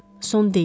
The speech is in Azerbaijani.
Son deyil.